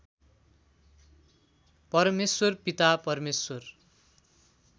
परमेश्वर पिता परमेश्वर